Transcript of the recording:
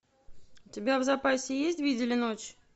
у тебя в запасе есть видели ночь